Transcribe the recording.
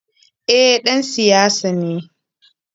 Eh ,ɗan siyasa ne.